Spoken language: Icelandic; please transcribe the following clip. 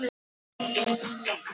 Þetta var ekki Linja.